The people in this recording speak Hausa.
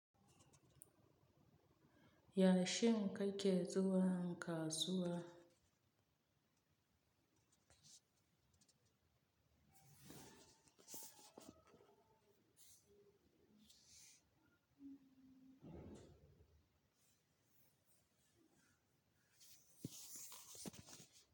Ya, shin ka ke zuwan, kasuwa?